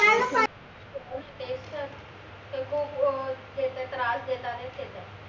ते खूप अं त्यांना त्रास देतातायत